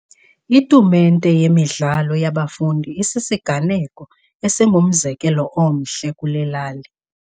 Itumente yemidlalo yabafundi isisiganeko esingumzekelo omhle kule lali.